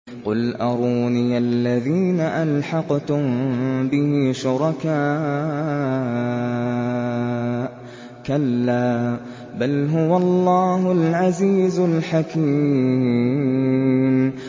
قُلْ أَرُونِيَ الَّذِينَ أَلْحَقْتُم بِهِ شُرَكَاءَ ۖ كَلَّا ۚ بَلْ هُوَ اللَّهُ الْعَزِيزُ الْحَكِيمُ